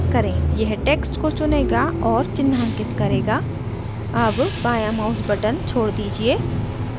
यह text को चुनेगा और चिन्हांकित करेगा अब बायाँ mouse button छोड़ दीजिए